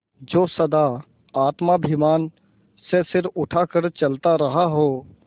जो सदा आत्माभिमान से सिर उठा कर चलता रहा हो